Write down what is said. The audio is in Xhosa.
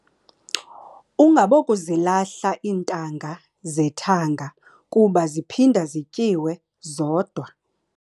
Ungabokuzilahla iintanga zethanga kuba ziphinda zityiwe zodwa.